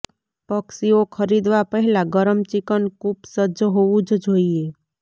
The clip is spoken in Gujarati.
પક્ષીઓ ખરીદવા પહેલા ગરમ ચિકન કૂપ સજ્જ હોવું જ જોઈએ